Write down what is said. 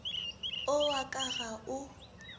o wa ka ga o